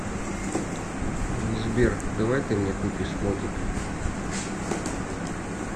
сбер давай ты мне купишь мотик